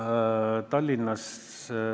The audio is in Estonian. ...